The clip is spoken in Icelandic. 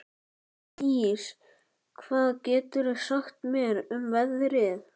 Elddís, hvað geturðu sagt mér um veðrið?